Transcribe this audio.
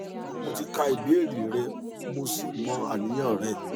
mo ti kà ìbéèrè rẹ mo sì mọ àníyàn rẹ